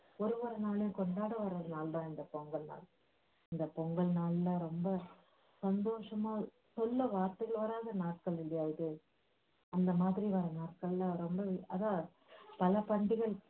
ஒரு ஒரு நாளும் கொண்டாடுற ஒரு நாள் தன் இந்த பொங்கல் நாள். இந்த பொங்கல் நாள்ல ரொம்ப சந்தோஷமா சொல்ல வார்த்தைகள் வராத நாட்கள் இல்லையா இது அந்த மாதிரி வர்ற நாட்கள்லாம் அதான் பல